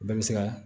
Bɛɛ bɛ se ka